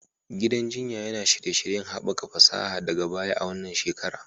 Gidan jinya yana shirye-shiryen haɓaka fasaha daga baya a wannan shekara